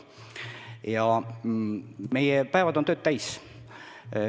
Meie päevad on tööd täis.